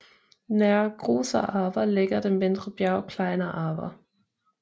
Nær Großer Arber ligger det mindre bjerg Kleiner Arber